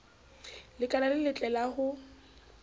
lekala le letle la ho